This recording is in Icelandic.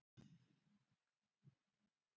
Síðan er liðið eitt ár.